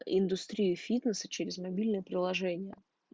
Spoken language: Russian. индустрия фитнеса через мобильное приложение